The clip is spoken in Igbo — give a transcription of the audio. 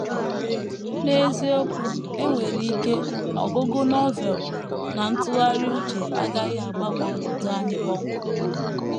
N’eziokwu, e nwere ike ọgụgụ Novel na ntụgharị uche agaghị agbanwe ọnọdụ anyị kpọmkwem.